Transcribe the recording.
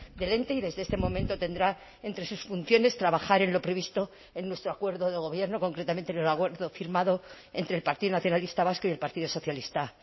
del ente y desde este momento tendrá entre sus funciones trabajar en lo previsto en nuestro acuerdo de gobierno concretamente en el acuerdo firmado entre el partido nacionalista vasco y el partido socialista